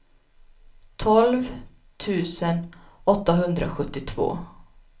tolv tusen åttahundrasjuttiotvå